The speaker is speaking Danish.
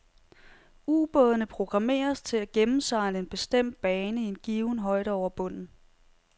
Ubådene programmeres til at gennemsejle en bestemt bane i en given højde over bunden.